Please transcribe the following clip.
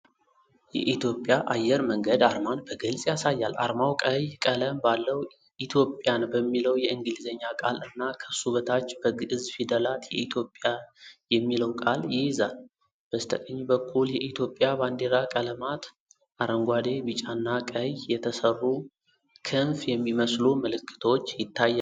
የኢትዮጵያ አየር መንገድ አርማን በግልጽ ያሳያል። አርማው ቀይ ቀለም ባለው 'ኢትዮጵያን' በሚለው የእንግሊዝኛ ቃል እና ከሱ በታች በግዕዝ ፊደላት 'የኢትዮጵያ' የሚለው ቃል ይይዛል። በስተቀኝ በኩል የኢትዮጵያ ባንዲራ ቀለማት (አረንጓዴ፣ ቢጫና ቀይ) የተሰሩ ክንፍ የሚመስሉ ምልክቶች ይታያሉ።